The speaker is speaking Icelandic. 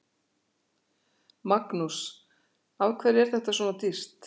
Magnús: Af hverju er þetta svona dýrt?